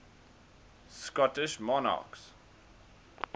scottish monarchs